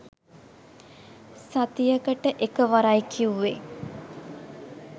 සතියකට එකවරයි කිවුවෙ